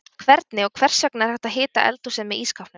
Hvernig og hvers vegna er hægt að hita eldhúsið með ísskápnum?